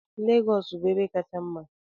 Lagos bụ ebe kacha mma.